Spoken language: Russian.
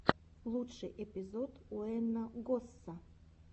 лучший эпизод уэйна госса